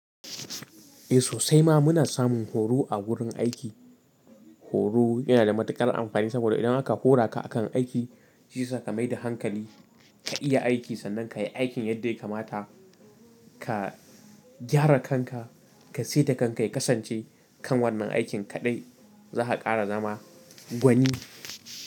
Eh sosai ma muna samun horo a wurin aiki. Horo yana da matuƙar amfani saboda idan aka hora ka akan aiki, shi yasa ka mai da hankali ka iya aiki sannan ka yi aikin yadda ya kamata. Ka gyara kanka, ka saita kanka ya kasance kan wannan aikin kaɗai za ka ƙara zama gwani.